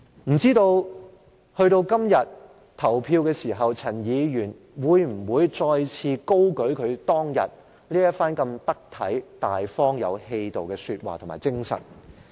未知到了今天投票的時候，陳議員會否再次高舉他當天這番得體、大方、有氣度的說話和精神呢？